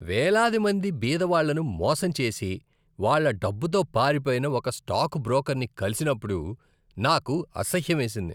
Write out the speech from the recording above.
వేలాది మంది బీదవాళ్ళను మోసం చేసి వాళ్ళ డబ్బుతో పారిపోయిన ఒక స్టాక్ బ్రోకర్ని కలిసినప్పుడు నాకు అసహ్యమేసింది.